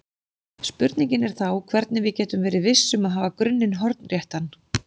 Spurningin er þá hvernig við getum verið viss um að hafa grunninn hornréttan.